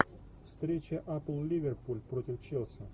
встреча апл ливерпуль против челси